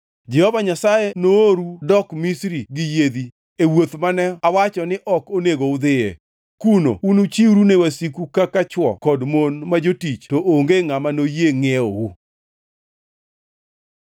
Jehova Nyasaye nooru dok Misri gi yiedhi, e wuoth mane awacho ni ok onego udhiye. Kuno unuchiwru ne wasiku kaka chwo kod mon ma jotich to onge ngʼama noyie ngʼiewou.